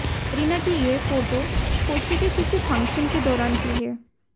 करीना की ये फोटो कोच्चि के किसी फंक्शन के दौरान की है